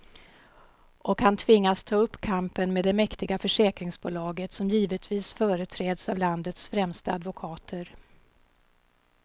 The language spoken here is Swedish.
Och han tvingas ta upp kampen med det mäktiga försäkringsbolaget, som givetvis företräds av landets främsta advokater.